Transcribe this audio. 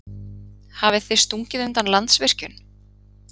Hafið þið stungið undan Landsvirkjun?